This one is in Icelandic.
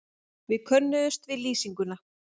Við könnuðumst við lýsinguna.